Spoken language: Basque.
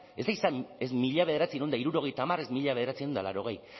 ez da izan ez mila bederatziehun eta hirurogeita hamar ez mila bederatziehun eta laurogei